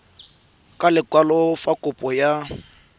ka lekwalo fa kopo ya